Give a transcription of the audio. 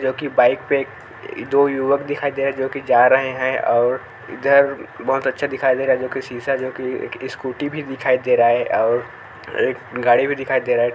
जो कि बाइक पे दो युवक दिखाई दे रहे हैं जो कि जा रहे हैं और इधर बहुत अच्छा दिखाई दे रहा हैं जो कि शीशा जो कि एक स्कूटी भी दिखाई दे रहा हैं और एक गाड़ी भी दिखाई दे रहा हैं।